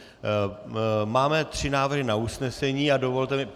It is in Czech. Máme tři návrhy na usnesení a dovolte mi...